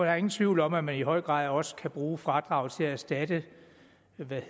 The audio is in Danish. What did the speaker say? er ingen tvivl om at man i høj grad også kan bruge fradraget til at erstatte